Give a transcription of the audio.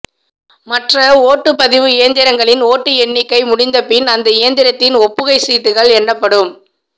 மற்ற ஓட்டுபதிவு இயந்திரங்களின் ஓட்டு எண்ணிக்கை முடிந்த பின் அந்த இயந்திரத்தின் ஒப்புகை சீட்டுகள் எண்ணப்படும்